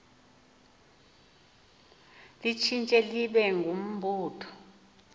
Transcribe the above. litshintshe libe ngumbutho